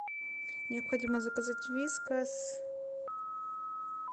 необходимо заказать вискас